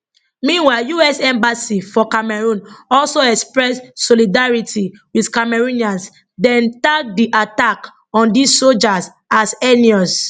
meanwhile us embassy for cameroon also express solidarity wit cameroonians dem tag di attack on di sojas as heinous